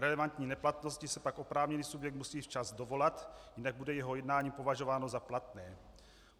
Relevantní neplatnosti se pak oprávněný subjekt musí včas dovolat, jinak bude jeho jednání považováno za platné.